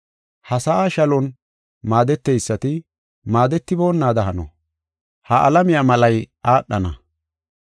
Ha sa7aa shalon maadeteysati maadetiboonada hano. Ha alamiya malay aadhana.